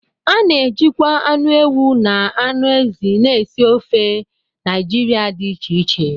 A na-ejikwa anụ ewu na anụ ezi na esi ofe Naijiria dị iche iche